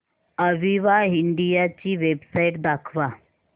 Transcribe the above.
Aviva India ची website दाखवा